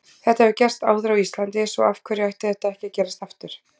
Þetta hefur gerst áður á Íslandi svo af hverju ætti þetta ekki að gerast aftur?